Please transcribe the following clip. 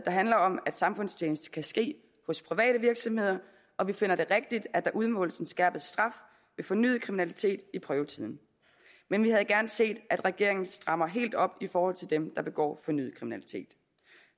handler om at samfundstjeneste kan ske hos private virksomheder og vi finder det rigtigt at der udmåles en skærpet straf ved fornyet kriminalitet i prøvetiden men vi havde gerne set at regeringen havde strammet helt op i forhold til dem der begår fornyet kriminalitet